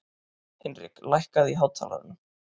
Hinrik, lækkaðu í hátalaranum.